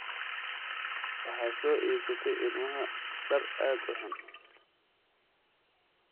Waxaad soo iibsatay ilmaha dhar aad u xun.